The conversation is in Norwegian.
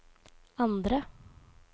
andre